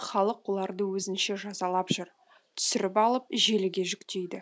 халық оларды өзінше жазалап жүр түсіріп алып желіге жүктейді